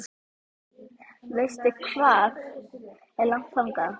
Veistu hvað er langt þangað?